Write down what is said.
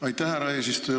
Aitäh, härra eesistuja!